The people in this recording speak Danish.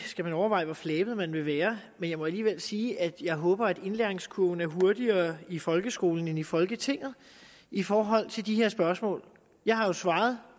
overveje hvor flabet man vil være men jeg må alligevel sige at jeg håber at indlæringskurven er hurtigere i folkeskolen end i folketinget i forhold til de her spørgsmål jeg har jo svaret